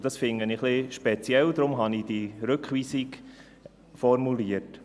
Dies finde ich ein wenig speziell, deshalb habe ich diese Rückweisung formuliert.